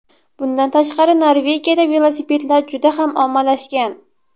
Bundan tashqari Norvegiyada velosipedlar juda ham ommalashgan.